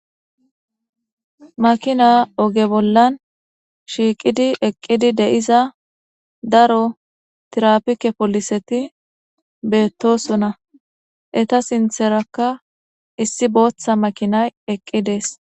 Makinay oge bolla shiiqidi uttida daro tirapike pooliseti betosona eta sintheraka issi makinay eqi uttides